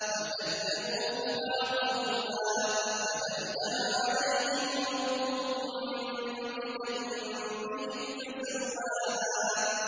فَكَذَّبُوهُ فَعَقَرُوهَا فَدَمْدَمَ عَلَيْهِمْ رَبُّهُم بِذَنبِهِمْ فَسَوَّاهَا